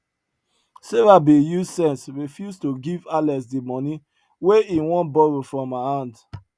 sarah bin use sense refuse to give alex di money wey he wan borrow from her hand